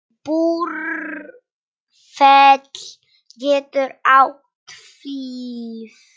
Búrfell getur átt við